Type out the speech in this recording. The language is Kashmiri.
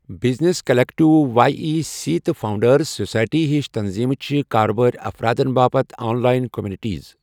Business collective, Y E C, تہٕ فاونڈرز سوسائٹی ہِش تنظیمہٕ چھِ کاربٲری افرادَن باپتھ آن لاین کمیونِٹیز۔